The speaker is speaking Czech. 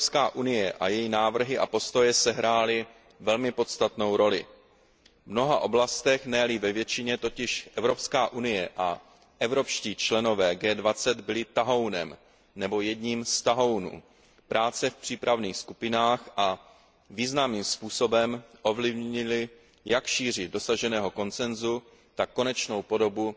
EU a její návrhy a postoje sehrály velmi podstatnou roli. V mnoha oblastech, ne li ve většině, totiž EU a evropští členové G20 byli tahounem, nebo jedním z tahounů, práce v přípravných skupinách a významným způsobem ovlivnili jak šíři dosaženého konsensu, tak konečnou podobu